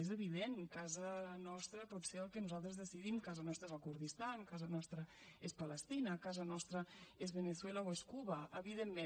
és evident casa nostra pot ser el que nosaltres decidim casa nostra és el kurdistan casa nostra és palestina casa nostra és veneçuela o és cuba evidentment